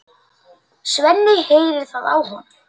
Svenni heyrir það á honum.